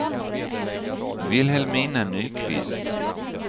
Vilhelmina Nyqvist